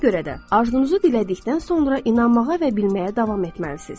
Ona görə də arzunuzu dilədikdən sonra inanmağa və bilməyə davam etməlisiniz.